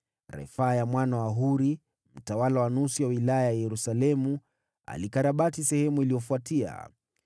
Refaya mwana wa Huri, mtawala wa nusu ya wilaya ya Yerusalemu, alikarabati sehemu iliyofuatia.